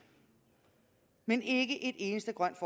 men ikke ét eneste grønt